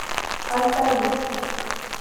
альтаис